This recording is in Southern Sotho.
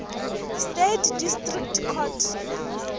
states district court